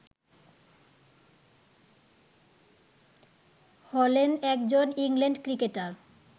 হলেন একজন England cricketer